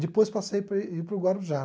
Depois passei para ir para o Guarujá.